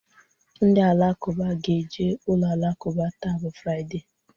Ndị Alakụba ge-eje ụlọ alakụba taa bụ Fraịdee